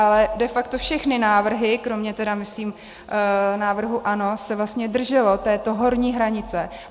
Ale de facto všechny návrhy, kromě tedy myslím návrhu ANO, se vlastně držely této horní hranice.